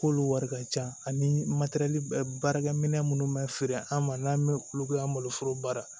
K'olu wari ka ca ani baarakɛminɛn minnu bɛ feere an ma n'an bɛ olu kɛ an maloforo baara